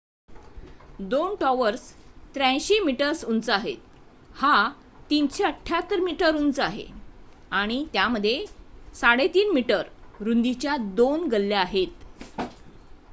2 towers 83 metres उंच आहेत हा 378 मीटर्स उंच आहे आणि त्यामध्ये 3.50 मी रुंदीच्या 2 गल्ल्या आहेत